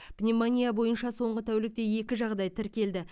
пневмония бойынша соңғы тәулікте екі жағдай тіркелді